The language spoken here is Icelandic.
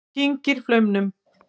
Hún kyngir flaumnum.